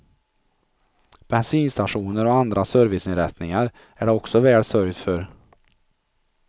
Bensinstationer och andra serviceinrättningar är det också väl sörjt för.